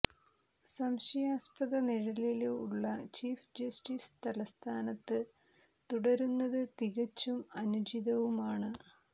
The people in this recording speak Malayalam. സംശയാസ്പദ നിഴലില് ഉള്ള ചീഫ് ജസ്റ്റിസ് തല്സ്ഥാനത്ത് തുടരുന്നത് തികച്ചും അനുചിതവുമാണ്